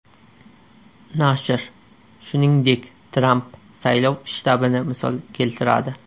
Nashr, shuningdek, Tramp saylov shtabini misol keltiradi.